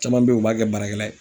Caman bɛ yen, u b'a kɛ baarakɛla ye.